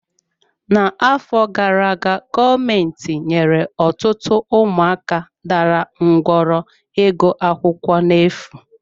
N'afọ gara aga, gọọmentị nyere ọtụtụ ụmụaka dara ngwọrọ ịgụ akwụkwọ na-efu.